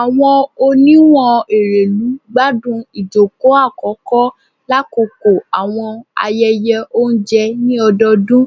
Awọn oniwun Erelu gbadun ijoko akọkọ lakoko awọn ayẹyẹ ounjẹ ni ọdọọdun